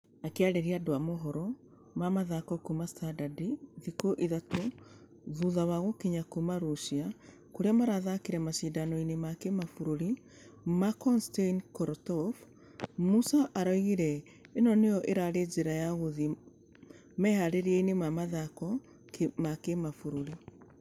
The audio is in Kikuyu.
Akĩarĩria andũ a mohoro ma mĩthako kuuma standardthikũ ithatũ thutha wa gũkinya kuuma russia kũrĩa marathakire mashidano-inĩ ma kĩmabũrũri ma konstain korotkov. Musa araugire ĩno nĩyo ĩrarĩ njĩra ya gũthie meharereinia ma ...wa kĩmabũrũri.